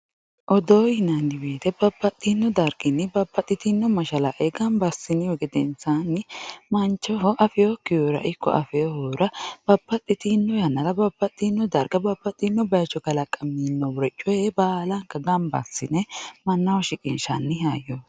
Odoo yinanni woyte babbaxxino darginni babbaxxitino mashalaqqe gamba assinihu gedensanni mancho afekkihura ikko afinohura babbaxxitino yannara babbaxxino bayicho kalaqaminoricho kuri baallanka gamba assine mannaho shiqqinshani hayyoti.